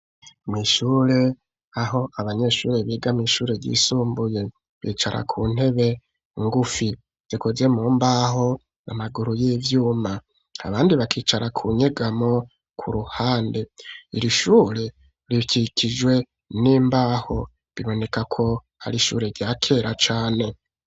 Mw'ishure, aho abanyeshure biga, mw'ishure ryisumbuye; bicara ku ntebe ngufi, zikozwe mumbaho, n'amaguru y'ivyuma; abandi bakicara ku nyegamo, ku ruhande; iri shure, rikikijwe n'imbaho; biboneka ko, ari ishure rya kera cane.